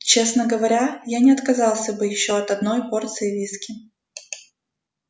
честно говоря я не отказался бы от ещё одной порции виски